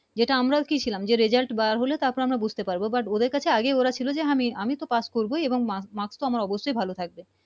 যে টা আমরাও কি ছিলাম Result বার হলে তার পর আমরা বুঝতে পারবো But ওদের কাছে আগে ওরা ছিল আমি তো Pass করবই এবং Marks তো অবশ্যই ভালো থাকবে